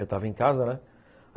Eu estava em casa, né?